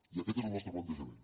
i aquest és el nostre plantejament